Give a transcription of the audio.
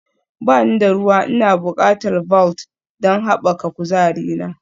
Ba ni da ruwa Ina buƙatar Vault don haɓaka kuzarina